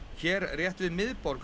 hér rétt við miðborg